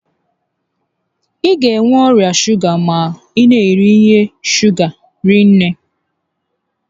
Ị ga enwe ọrịa shuga ma ị na'eri ihe shuga hinne